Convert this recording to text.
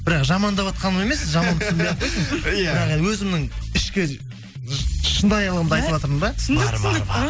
бірақ жамандаватқаным емес жаман түсінбей ақ қойсын иә бірақ өзімнің ішкі шынайлығымды айтыватырмын да